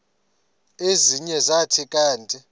ezinye zathi kanti